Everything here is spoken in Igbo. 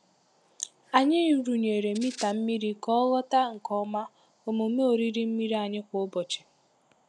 Anyị rụnyere mita mmiri ka ọ ghọta nke ọma omume oriri mmiri anyị kwa ụbọchị.